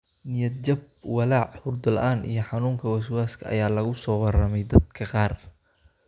Niyad-jab, walaac, hurdo la'aan iyo xanuunka waswaaska ah ayaa lagu soo warramey dadka qaar.